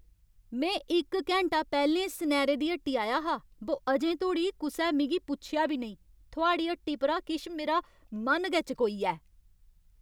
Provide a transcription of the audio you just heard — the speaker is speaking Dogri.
में इक घैंटा पैह्लें सनैरे दी हट्टी आया हा बो अजें धोड़ी कुसै मिगी पुच्छेआ बी नेईं। थुआढ़ी हट्टी परा किश मेरा मन गै चकोई 'आ ऐ।